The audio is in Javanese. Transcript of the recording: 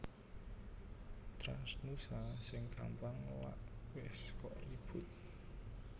TransNusa sing gampang lak wes kok ribut